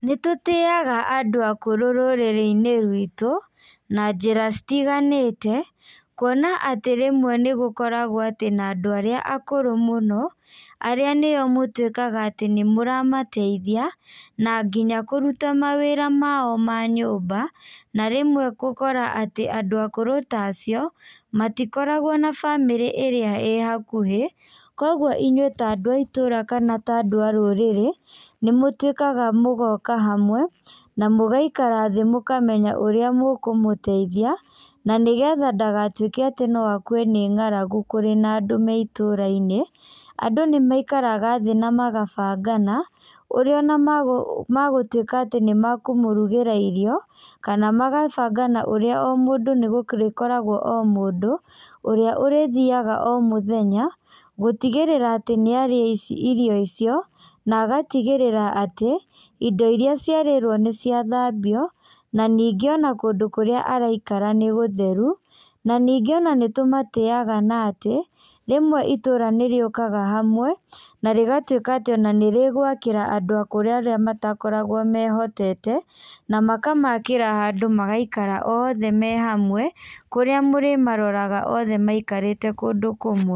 Nĩtũtĩaga andũ akũrũ rũrĩrĩinĩ ruitũ na njĩra citiganĩte, kuona atĩ rĩmwe nĩgũkoragwo atĩ na andũ arĩa akũrũ mũno, arĩa nĩo mũtuĩkaga atĩ nĩmũramateithia, na nginya kũruta mawĩra mao ma nyũmba, na rĩmwe gũkora atĩ andũ akũrũ tacio, matikoragwo na bamĩrĩ ĩrĩa ĩ hakuhĩ, koguo inyuĩ ta andũ a itũra kana ta andũ a rũrĩrĩ, nĩmũtuĩkaga mũgoka hamwe, na mũgaikara thĩ mũkamenya ũrĩa mũkũmũteithia, na nĩgetha ndagatuĩke atĩ no akue nĩ ng'aragu kũrĩ na andũ me itũrainĩ, andũ nĩmaikaraga thĩ namagabangana, ũrĩa ona magũ magũtuĩka atĩ nĩmakũmũrugĩra irio, kana magabangana ũrĩa o mũndũ nĩgũrĩkoragwo o mũndũ, ũrĩa ũrĩthiaga o mũthenya, gũtigĩrĩra atĩ nĩarĩa ici irio icio, na agatigĩrĩra atĩ, indo iria ciarĩrwo nĩciathambio, na ningĩ ona kũndũ kũrĩa araikara nĩgũtheru, na ningĩ ona nĩtũmatĩaga na atĩ, rĩmwe itũra nĩrĩũkaga hamwe, narĩgatuĩka atĩ ona nĩrĩgwakĩra andũ akũrũ arĩa matakoragwo mehotete, namakamakĩra handũ magaikara othe me hamwe, kũrĩa mũrĩmaroraga othe maikarĩte kũndũ kũmwe.